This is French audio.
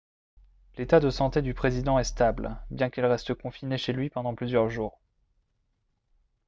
l'état de santé du président est stable bien qu'il reste confiné chez lui pendant plusieurs jours